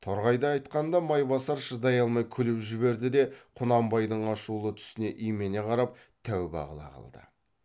торғайды айтқанда майбасар шыдай алмай күліп жіберді де құнанбайдың ашулы түсіне имене қарап тәуба қыла қалды